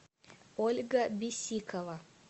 ольга бисикова